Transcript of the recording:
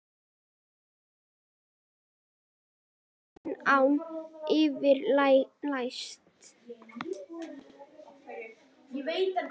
Rökfastur að venju en án yfirlætis.